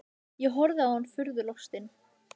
Ég horfði á hann furðu lostinn.